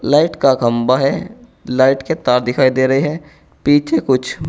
light का खंबा है लाइट के तार दिखाई दे रहे हैं पीछे कुछ--